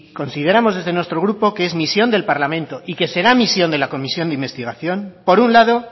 consideramos desde nuestro grupo que es misión del parlamento y que será misión de la comisión de investigación por un lado